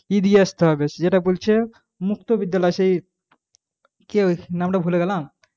কি দিয়ে আসতে হবে যেটা বলছে মুক্ত বিদ্যালয় সেই কি নামটা ভুলে গেলাম,